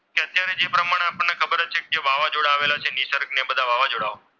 જે વાવાઝોડા આવેલા છે. નિસર્ગ ને બધા વાવાઝોડાઓ